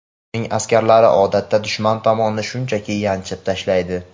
Uning askarlari odatda dushman tomonni shunchaki yanchib tashlaydi.